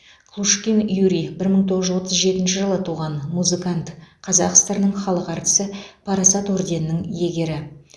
клушкин юрий бір мың тоғыз жүз отыз жетінші жылы туған музыкант қазақ сср інің халық әртісі парасат орденінің иегері